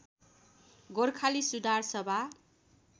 Gorkhali Sudhar Sabha